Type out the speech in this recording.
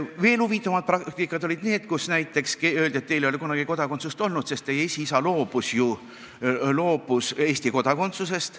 Veel huvitavam praktika olid selline, et näiteks öeldi, et teil ei ole kunagi kodakondsust olnud, sest teie esiisa loobus ju Eesti kodakondsusest.